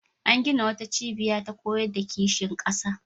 An gina wata cibiya ta koyar da kishin ƙasa.